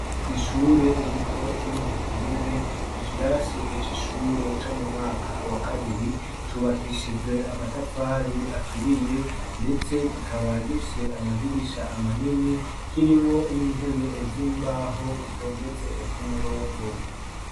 kw'ishure rito ryo mu buterere ikirasi c'ishure co mu mwaka wa kabiri cubakishijwe amatafari aturiye ndetse kikaba gifise amadirisha manini kirimwo n'intebe z'imbaho zitondetse ku murongo